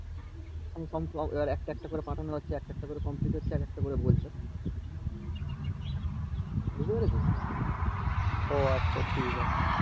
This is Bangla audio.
একটা একটা করে complete হচ্ছে আর এক একটা করে বলছে বুঝতে পেরেছো ও আচ্ছা ঠিক আছে